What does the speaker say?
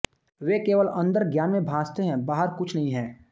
वे केवल अन्दर ज्ञान में भासते हैं बाहर कुछ नहीं हैं